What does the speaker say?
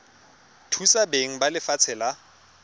thusa beng ba lefatshe la